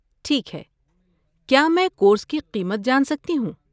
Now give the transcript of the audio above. ٹھیک ہے! کیا میں کورس کی قیمت جان سکتی ہوں؟